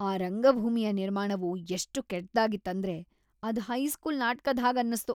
ಆ ರಂಗಭೂಮಿಯ ನಿರ್ಮಾಣವು ಎಷ್ಟ್ ಕೆಟ್ಟದಾಗಿತ್ ಅಂದ್ರೆ ಅದ್ ಹೈಸ್ಕೂಲ್ ನಾಟ್ಕದ್ ಹಾಗ್ ಅನ್ನುಸ್ತು.